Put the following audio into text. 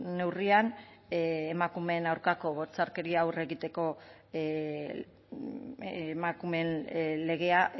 neurrian emakumeen aurkako bortxakeria aurre egiteko emakumeen legea